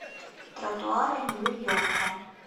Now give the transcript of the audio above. тротуары нью йорка